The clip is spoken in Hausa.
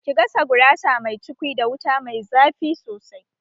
Ki gasa gurasa mai cukwi da wuta mai zafi sosai!